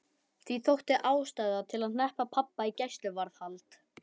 Því þótti ástæða til að hneppa pabba í gæsluvarðhald.